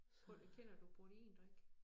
Kender du proteindrik?